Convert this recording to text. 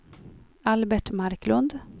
Albert Marklund